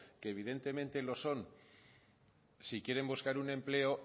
que evidentemente lo son si quieren buscar un empleo